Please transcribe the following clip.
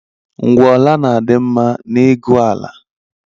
Ngwuola na-adị mma n’ịgụ ala